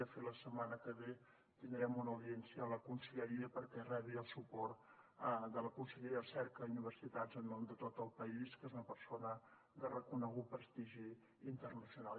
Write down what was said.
de fet la setmana que ve tindrem una audiència a la conselleria perquè rebi el suport de la conselleria de recerca i universitats en nom de tot el país que és una persona de reconegut prestigi internacional